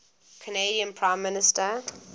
canadian prime minister